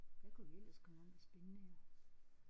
Hvad kunne vi ellers komme om af spændende